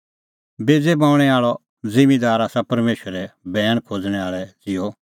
बेज़ै बऊंणैं आल़अ ज़िम्मींदार आसा परमेशरे बैण खोज़णैं आल़ै ज़िहअ